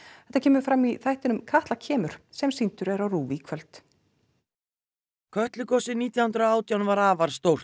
þetta kemur fram í þættinum Katla kemur sem sýndur er á RÚV í kvöld kötlugosið nítján hundruð og átján var afar stórt